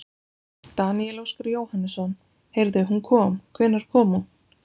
Daníel Óskar Jóhannesson: Heyrðu hún kom, hvenær kom hún?